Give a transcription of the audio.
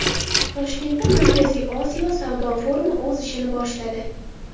Toshkentda Markaziy Osiyo savdo forumi o‘z ishini boshladi.